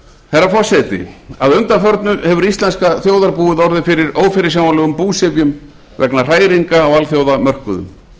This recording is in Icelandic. herra forseti að undanförnu hefur íslenska þjóðarbúið orðið fyrir ófyrirsjáanlegum búsifjum vegna hræringa á alþjóðamörkuðum